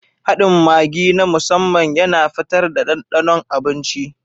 Haɗin Maggi na musamman yana fitar da ɗanɗanon abinci.